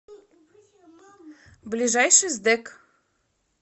ближайший сдэк